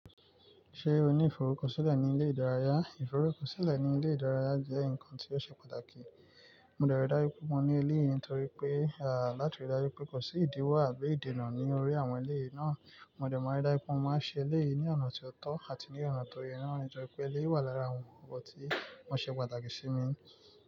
Ṣé o ní ìfọrúkọ sílẹ̀ ní ilé ìdárayá? Ìfọrúkọ sílẹ̀ ní ilé ìdárayá jẹ́ nǹkan tí ó ṣe pàtàkì. Mo dẹ̀ ri dájú pé mo ní eléyìí nítorí pé, à láti rí dájú pé kò sí ìdíwọ̀ àbí ìdènà ní orí àwọn eléyìí náà. Mo dẹ̀ má n ri dájú pé mo máa n ṣe eléyìí ní ọ̀nà tí ó tọ́ àti ní ọ̀nà tó yẹ náà nítorí pé eléyìí wà lára àwọn ǹkan tí wọ́n ṣe pàtàkì sí mi ni.